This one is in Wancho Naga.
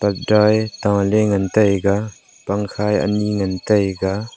parda e taley ngan taiga pangkha e anyi ngan taiga.